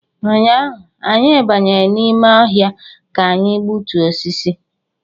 Ụnyaahụ, anyị banyere n’ime ọhịa ka anyị gbutuo osisi